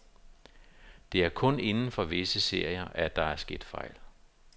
Det er kun inden for visse serier, at der er sket fejl.